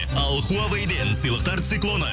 ал хуавейден сыйлықтар циклоны